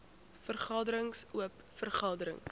vergaderings oop vergaderings